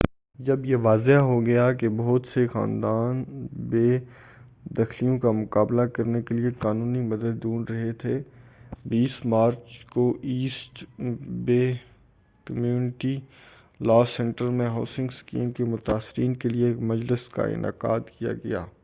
جب یہ واضح ہوگیا کہ بہت سے خاندان بے دخلیوں کا مُقابلہ کرنے کے لیے قانونی مدد ڈھونڈ رہے تھے 20 مارچ کو ایسٹ بے کمیونٹی لاء سینٹر میں ہاوسنگ اسکیم کے متاثرین کے لیے ایک مجلس کا انعقاد کیا گیا